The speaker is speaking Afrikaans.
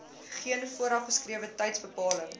geen voorgeskrewe tydsbepaling